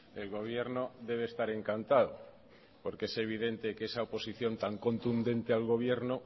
el gobierno debe estar encantado porque es evidente que esa oposición tan contundente al gobierno